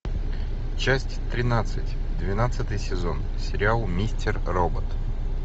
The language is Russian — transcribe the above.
часть тринадцать двенадцатый сезон сериал мистер робот